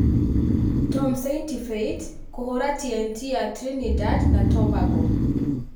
Tom Saintfiet kũhũra T&T ya Trinidad na Tobago